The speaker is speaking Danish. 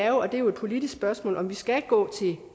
jo og det er et politisk spørgsmål om vi skal gå til